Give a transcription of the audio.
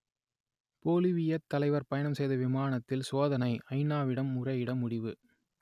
பொலிவியத் தலைவர் பயணம் செய்த விமானத்தில் சோதனை ஐநாவிடம் முறையிட முடிவு